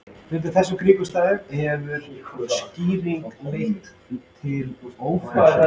Undir þessum kringumstæðum hefur sýkingin leitt til ófrjósemi.